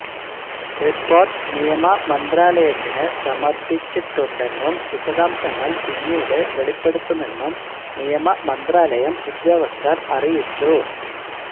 report നിയമമന്ത്രാലയത്തിനു സമര്പ്പിച്ചിട്ടുണ്ടെന്നും വിശദാംശങ്ങള് പിന്നീട് വെളിപ്പെടുത്തുമെന്നും നിയമമന്ത്രാലയം ഉദ്യോഗസ്ഥര് അറിയിച്ചു